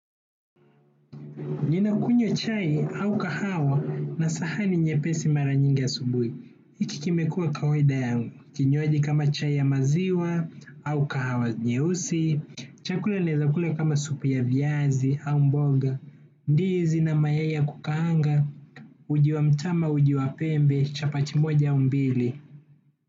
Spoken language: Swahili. Nina kunywa chai au kahawa na sahani nye pesi mara nyingi asubuhi. Hiki kimekua kawaida yangu kinywaji kama chai ya maziwa au kahawa nyeusi. Chakula naeza kula kama supu ya viazi au mboga. Ndizi na mayai ya kukaanga. Uji wa mtama uji wa pembe chapati moja au mbili.